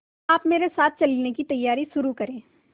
आप मेरे साथ चलने की तैयारी शुरू करें